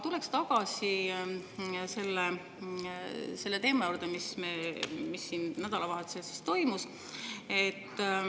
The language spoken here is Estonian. Tuleksin tagasi selle juurde, mis siin nädalavahetusel toimus.